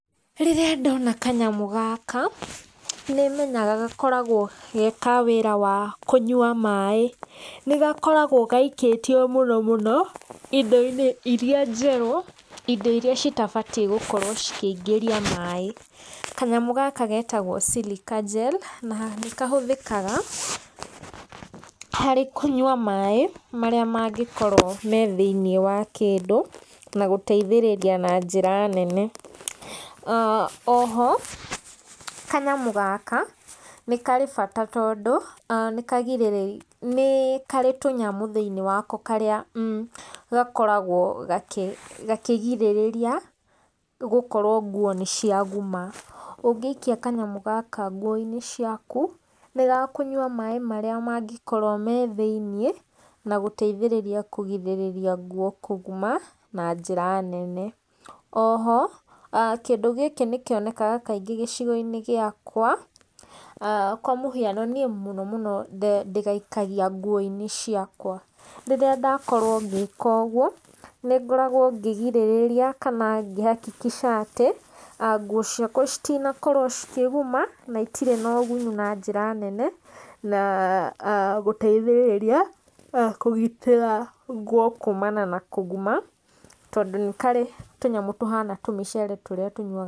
Rĩrĩa ndona kanyamũ gaka nĩ menyaga gakoragwo ge ka wĩra wa kũnyua maĩ, nĩ gakoragwo gaikĩtio mũno mũno indo-inĩ iria njerũ, indo iria citabatiĩ gũkorwo cikĩingĩria maĩ, kanyamũ gaka getagwo silica gel na nĩ kahũthĩkaga harĩ kũnyua maĩ marĩa mangĩkorwo me thĩiniĩ wa kĩndũ na gũteithĩrĩria na njĩra nene. O ho, kanyamũ gaka nĩ karĩ bata tondũ nĩ karĩ tũnyamũ thĩiniĩ ko karĩa gakoragwo gakĩgirĩrĩria, nĩ gũkorwo nguo nĩ cia guma, ũngĩikia kanyamũ gaka nguo-inĩ ciaku nĩ gakunywa maĩ marĩ mangĩkorwo me thĩiniĩ na gũteithĩrĩria kũgirĩrĩria kũguma na njĩra nene, o ho kĩndũ gĩkĩ nĩkĩonekaga kaingĩ gĩcigo-inĩ gĩakwa kwa mũhiano niĩ mũno mũno ndĩgaikagia nguo-inĩ ciakwa, rĩrĩa ndakorwo ngĩkogwo , nĩngoragwo ngĩgirĩrĩria kana ngĩ- hakikisha atĩ, nguo ciakwa citinakorwo cikĩguma, na itirĩ na ũgunyu na njĩra nene na gũteithĩrĩria kũgitĩra nguo kuumana na kũguma, tondũ nĩ karĩ tũnyamũ tũhana tũmĩcere tũrĩa tũnyuaga...